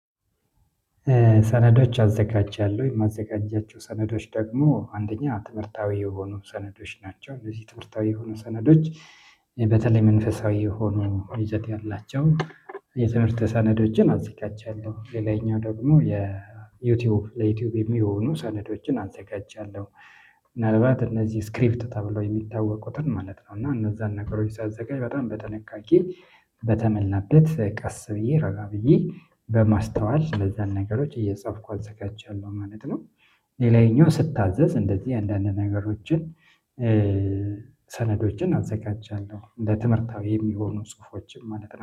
ሰነዶች አዘጋጃለሁ የማዘጋጃቸው ሰነዶች ደግሞ አንደኛ ትምህርታዊ የሆኑ ሰነዶች ናቸው እንደዚህ ትምህርታዊ የሆኑ ሰነዶች በተለይ መንፈሳዊ የሆኑ ወይዘት ያላቸው ሰነዶችን አዘጋጃለሁ። ሌላኛው ደግሞ የዩቲዩብ ለዩቲዩብ የሚሆኑ ሰነዶችን አዘጋጅቻለሁ። ምናልባት እነዚህ ስክሪፕት ተብሎ የሚታወቁትን ማለት ነው እና እነዛን ነገሮች ሲያዘጋጅ በጣም በተነካኪ በተመላንበት ቀስ ብዬ ረጋ ብዬ በማስተዋል እነዛን ነገሮች እየጻፍኩ አዘጋጅቻለሁ ማለት ነው። ሌላኛው ስታዘዝ እንደዚህ አንዳንድ ነገሮችን ሰነዶችን አዘጋጃለሁ እንደ ትምህርታዊ የሚሆኑ ጽሁፎችም ማለት ነው